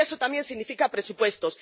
Y eso también significa presupuestos.